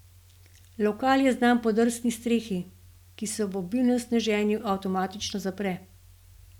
Lokal je znan po drsni strehi, ki se ob obilnem sneženju avtomatično zapre.